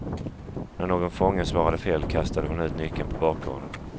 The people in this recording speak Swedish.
När någon fånge svarade fel kastade hon ut nyckeln på bakgården.